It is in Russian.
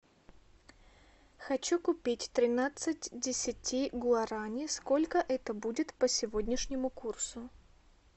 хочу купить тринадцать десяти гуарани сколько это будет по сегодняшнему курсу